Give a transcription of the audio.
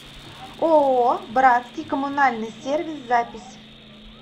ооо братский коммунальный сервис запись